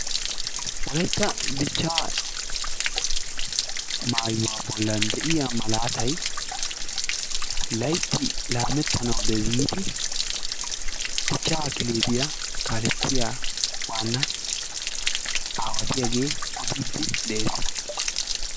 wolaytta dichaa maayuwa bolan diya malaatay laytay laametana giidi dichaa kelebiya waana kaletiyage odidi dees.